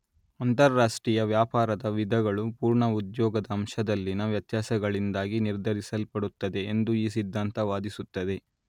ಅಂತಾರಾಷ್ಟ್ರೀಯ ವ್ಯಾಪಾರದ ವಿಧಗಳು ಪೂರ್ಣ ಉದ್ಯೋಗದ ಅಂಶದಲ್ಲಿನ ವ್ಯತ್ಯಾಸಗಳಿಂದಾಗಿ ನಿರ್ಧರಿಸಲ್ಪಡುತ್ತವೆ ಎಂದು ಈ ಸಿದ್ಧಾಂತ ವಾದಿಸುತ್ತದೆ